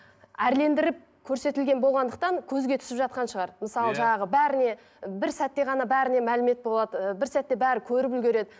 әрлендіріп көрсетілген болғандықтан көзге түсіп жатқан шығар мысалы жаңағы бәріне бір сәтте ғана бәріне мәлімет болады ыыы бір сәтте бәрі көріп үлгіреді